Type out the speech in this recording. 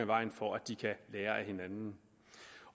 vejen for at de kan lære af hinanden